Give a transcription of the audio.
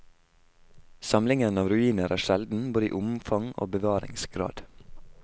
Samlingen av ruiner er sjelden, både i omfang og bevaringsgrad.